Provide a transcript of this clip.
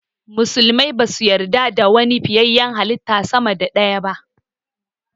Musulmai basu yarda da wani fiyayyen halitta sama da ɗaya ba